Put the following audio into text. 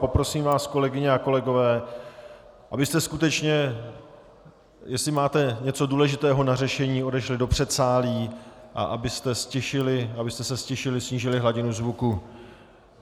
Poprosím vás, kolegyně a kolegové, abyste skutečně, jestli máte něco důležitého na řešení, odešli do předsálí a abyste se ztišili, snížili hladinu zvuku.